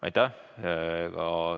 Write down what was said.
Aitäh!